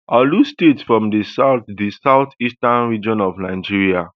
orlu state from di south di south eastern region of nigeria